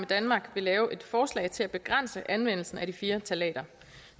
danmark vil lave et forslag til at begrænse anvendelsen af de fire ftalater